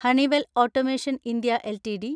Honeywell automation India LTD